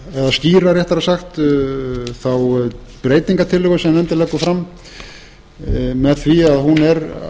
eða skýra réttara sagt þá breytingartillögu sem nefndin leggur fram með því að hún er